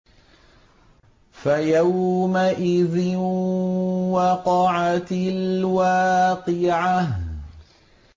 فَيَوْمَئِذٍ وَقَعَتِ الْوَاقِعَةُ